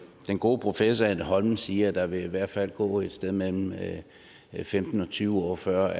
gode professor anne holmen siger at der i hvert fald vil gå et sted mellem femten og tyve år før